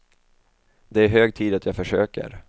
Det är hög tid att jag försöker.